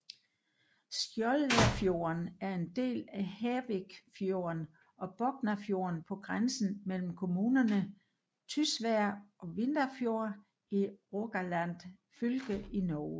Skjoldafjorden er en del af Hervikfjorden og Boknafjorden på grænsen mellem kommunerne Tysvær og Vindafjord i Rogaland fylke i Norge